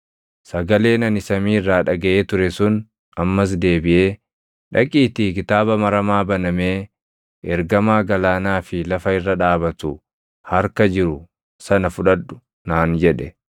Sagaleen ani samii irraa dhagaʼee ture sun ammas deebiʼee, “Dhaqiitii kitaaba maramaa banamee ergamaa galaanaa fi lafa irra dhaabatu harka jiru sana fudhadhu” naan jedhe.